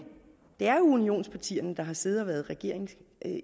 unionspartierne der har siddet i regering